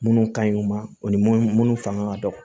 Minnu ka ɲi u ma o ni mun fanga ka dɔgɔ